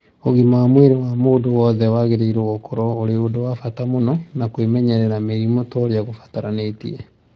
Ũgima wa mwĩrĩ wa mũndũ wothe wagĩrĩirũo gũkorũo ũrĩ ũndũ wa bata mũno, na kwimenyerera mĩrimũ toria gũbataranitie.